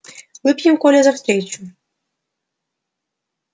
выпьем коля за встречу